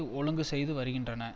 ஒழுங்கு செய்து வருகின்றன